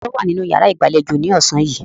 Taani ó wà nínú yàrá ìgbàlejò ni ọ̀sán yìí?